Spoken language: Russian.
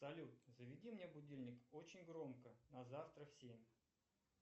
салют заведи мне будильник очень громко на завтра в семь